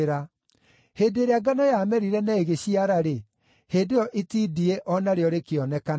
Hĩndĩ ĩrĩa ngano yamerire na igĩciara-rĩ, hĩndĩ ĩyo itindiĩ o narĩo rĩkĩonekana.